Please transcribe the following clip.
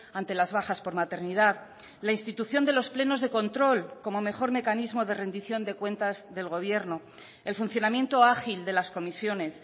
ante las bajas por maternidad la institución de los plenos de control como mejor mecanismo de rendición de cuentas del gobierno el funcionamiento ágil de las comisiones